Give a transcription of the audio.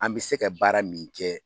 An bɛ se ka baara min kɛ